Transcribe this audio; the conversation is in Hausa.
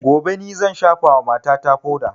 Gobe ni zan shafa wa mata ta foda